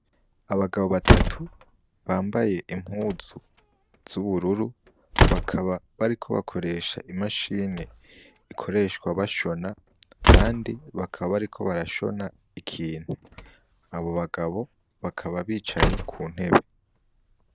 Abagabo batatu bambaye impuzu z'ubururu, bakaba bariko bakoresha imashini ikoreshwa bashona, kandi bakaba bariko barashona ikintu; Abo bagabo bakaba bicaye ku ntebe.